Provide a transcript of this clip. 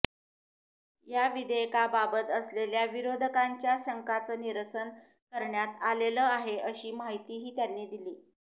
या विधेयकाबाबत असलेल्या विरोधकांच्या शंकाचं निरसन करण्यात आलेलं आहे अशी माहितीही त्यांनी दिली